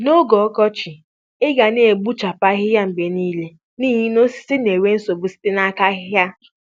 N'oge ọkọchị, ọkọchị, ị ga na-abọchapụ ahịhịa mgbe niile n'ihi na osisi na-enwe nsogbu site n'aka ahịhịa.